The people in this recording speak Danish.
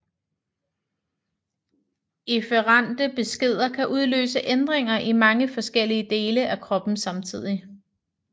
Efferente beskeder kan udløse ændringer i mange forskellige dele af kroppen samtidig